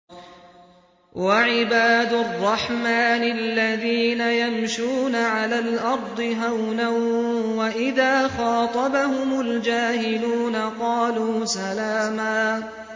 وَعِبَادُ الرَّحْمَٰنِ الَّذِينَ يَمْشُونَ عَلَى الْأَرْضِ هَوْنًا وَإِذَا خَاطَبَهُمُ الْجَاهِلُونَ قَالُوا سَلَامًا